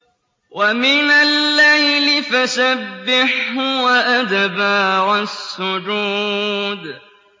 وَمِنَ اللَّيْلِ فَسَبِّحْهُ وَأَدْبَارَ السُّجُودِ